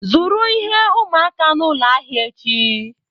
Zụrụ ihe ụmụaka n'ụlọ ahịa echi.